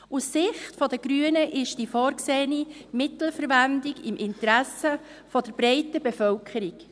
Aus Sicht der Grünen ist die vorgesehene Mittelverwendung im Interesse der breiten Bevölkerung.